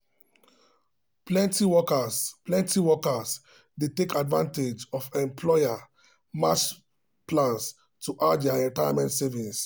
plenty workers plenty workers dey take advantage of employer-matched plans to add to their retirement savings.